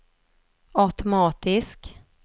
automatisk